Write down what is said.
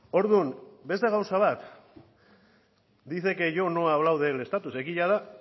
orduan beste gauza bat dice que yo no he hablado del estatus egia da